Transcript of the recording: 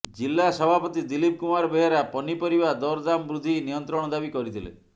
ଜିଲା ସଭାପତି ଦିଲ୍ଲୀପ କୁମାର ବେହେରା ପନିପରିବା ଦରଦାମବୃଦ୍ଧି ନିୟନ୍ତ୍ରଣ ଦାବି କରିଥିଲେ